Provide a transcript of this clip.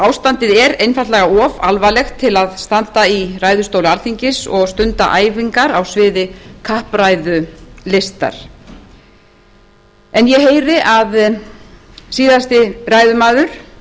ástandið er einfaldlega of alvarlegt til að standa í ræðustóli alþingis og stunda æfingar á sviði kappræðulistar ég heyri að síðasti ræðumaður